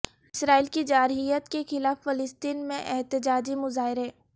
اسرائیل کی جارحیت کے خلاف فلسطین میں احتجاجی مظاہرے